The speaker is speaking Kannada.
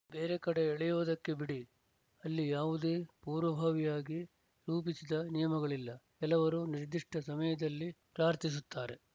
ಬೇರೆ ಕಡೆ ಎಳೆಯುವುದಕ್ಕೆ ಬಿಡಿ ಅಲ್ಲಿ ಯಾವುದೇ ಪೂರ್ವಭಾವಿಯಾಗಿ ರೂಪಿಸಿದ ನಿಯಮಗಳಿಲ್ಲ ಕೆಲವರು ನಿರ್ದಿಷ್ಟ ಸಮಯದಲ್ಲಿ ಪ್ರಾರ್ಥಿಸುತ್ತಾರೆ